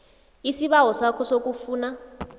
isibawo sakho sokufuna